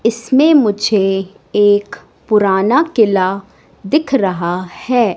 इसमें मुझे एक पुराना किला दिख रहा है।